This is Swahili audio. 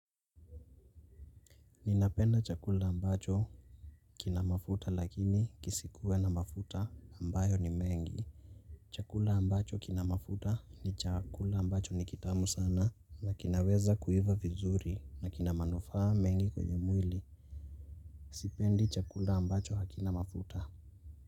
Ninapenda chakula ambacho kina mafuta lakini kisikue na mafuta ambayo ni mengi. Chakula ambacho kina mafuta ni chakula ambacho ni kitamu sana na kinaweza kuiva vizuri na kina manufaa mengi kwenye mwili. Sipendi chakula ambacho hakinamafuta.